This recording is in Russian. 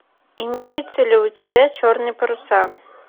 имеются ли у тебя черные паруса